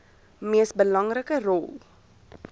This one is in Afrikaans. mees belangrike rol